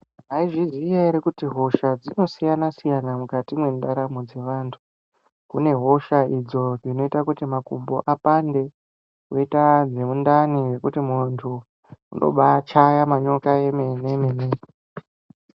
Mwaizviziya ere kuti hosha dzinosiyana siyana mukati mwendaramo dzevantu kune hosha idzo dzinoita kuti makumbo apande koita dzemundani dzekuti muntu unobaachaya manyoka emene mene.